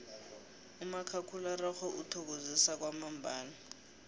umakhakhulararhwe uthokozisa kwamambala